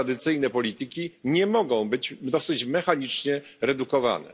tradycyjne polityki nie mogą być dosyć mechanicznie redukowane.